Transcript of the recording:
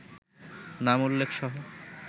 নাম উল্লেখসহ